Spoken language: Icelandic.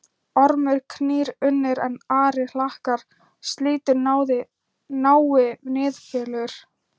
Ormur knýr unnir, en ari hlakkar, slítur nái Niðfölur